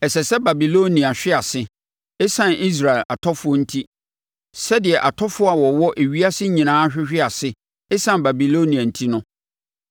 “Ɛsɛ sɛ Babilonia hwe ase, ɛsiane Israel atɔfoɔ enti, sɛdeɛ atɔfoɔ a wɔwɔ ewiase nyinaa ahwehwe ase ɛsiane Babilonia enti no.